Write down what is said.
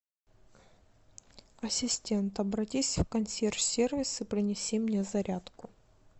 ассистент обратись в консьерж сервис и принеси мне зарядку